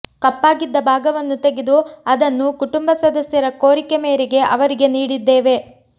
ಕಪ್ಪಾಗಿದ್ದ ಭಾಗವನ್ನು ತೆಗೆದು ಅದನ್ನು ಕುಟುಂಬ ಸದಸ್ಯರ ಕೋರಿಕೆ ಮೇರೆಗೆ ಅವರಿಗೆ ನೀಡಿದ್ದೇವೆ